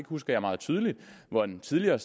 husker jeg meget tydeligt hvor en tidligere